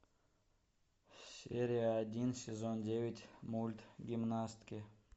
серия один сезон девять мульт гимнастки